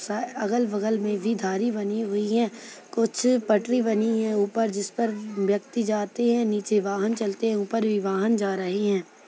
स अगल-बगल में भी धारी बनी हुई हैं कुछ पटरी बनी हैं ऊपर जिस पर व्यक्ति जाते हैं नीचे वाहन चलते हैं ऊपर भी वाहन जा रहे हैं।